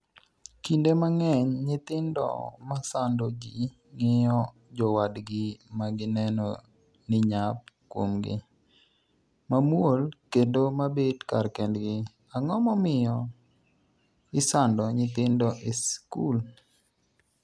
kinde mang'eny nyithindo masando ji ng'iyo jowadgi magineno ni nyap kuomgi, mamuol, kendo mabet kar kendgi. Ang'o momiyo isando nyithindo e sikul?